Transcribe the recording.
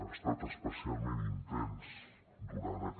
ha estat especialment intens durant aquest